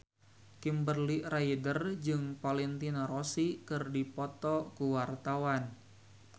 Kimberly Ryder jeung Valentino Rossi keur dipoto ku wartawan